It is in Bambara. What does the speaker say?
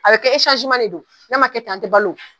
A bɛ kɛ de don, n'a ma kɛ ten an ti balo